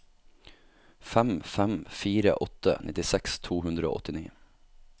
fem fem fire åtte nittiseks to hundre og åttini